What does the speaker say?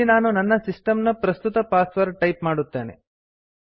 ಇಲ್ಲಿ ನಾನು ನನ್ನ ಸಿಸ್ಟಮ್ ನ ಪ್ರಸ್ತುತ ಪಾಸ್ವರ್ಡ್ ಟೈಪ್ ಮಾಡುತ್ತೇನೆ